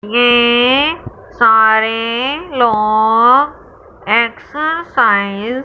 ये सारे लोग एक्सरसाइ --